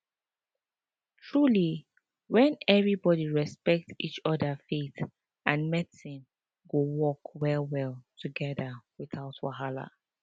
truly when everybody respect each other faith and medicine go work wellwell together without wahala